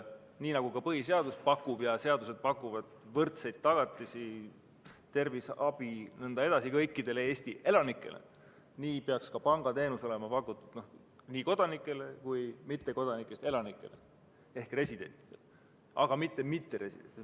Nii nagu põhiseadus ja muud seadused pakuvad võrdseid tagatisi, terviseabi jms kõikidele Eesti elanikele, nii peaks ka pangateenus olema tagatud nii kodanikest kui ka mittekodanikest elanikele ehk residentidele, aga mitte mitteresidentidele.